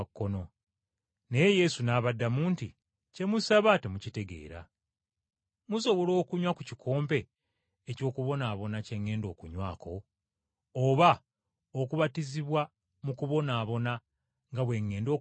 Naye Yesu n’abaddamu nti, “Kye musaba temukitegeera! Musobola okunywa ku kikompe eky’okubonaabona kye ŋŋenda okunywako? Oba okubatizibwa mu kubonaabona nga bwe ŋŋenda okubatizibwa?”